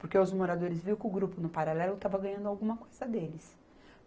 Porque os moradores viu que o Grupo No Paralelo estava ganhando alguma coisa deles.